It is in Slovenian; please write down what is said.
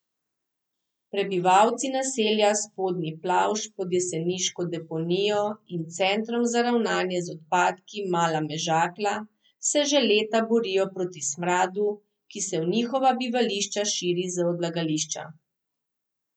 Prebivalci naselja Spodnji Plavž pod jeseniško deponijo in Centrom za ravnanje z odpadki Mala Mežakla se že leta borijo proti smradu, ki se v njihova bivališča širi z odlagališča.